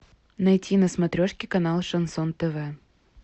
найти на смотрешке канал шансон тв